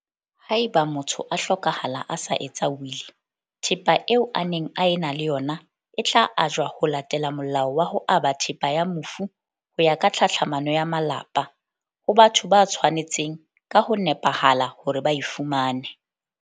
Haeba motho a hlokahala a sa etsa wili, thepa eo a neng a ena le ona e tla ajwa ho latela Molao wa ho Aba Thepa ya Mofu ho ya ka Tlhatlhamano ya Malapa, ho batho ba tshwa netseng ka ho nepahala hore ba e fumane.